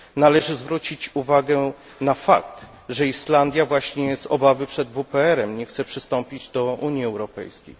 Należy zwrócić uwagę na fakt, że Islandia właśnie z obawy przed WPRyb nie chce przystąpić do Unii Europejskiej.